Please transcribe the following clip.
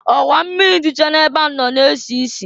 Ọwa mmịrị dịcha na-ebe ahụ nọ na-esisi.